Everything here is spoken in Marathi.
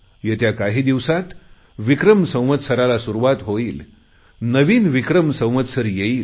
गेल्या काही दिवसात विक्रम संवत्सराला सुरुवात होईल नवीन विक्रम संवत्सर येईल